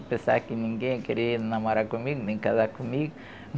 Eu pensava que ninguém ia querer namorar comigo, nem casar comigo.